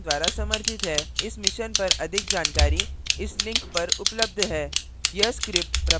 इस mission पर अधिक जानकारी इस लिंक पर उपलब्ध है